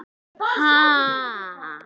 Ha?